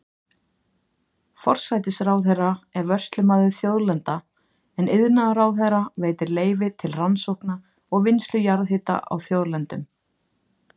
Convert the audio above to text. Forsætisráðherra er vörslumaður þjóðlendna, en iðnaðarráðherra veitir leyfi til rannsókna og vinnslu jarðhita á þjóðlendum.